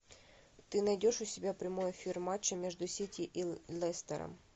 ты найдешь у себя прямой эфир матча между сити и лестером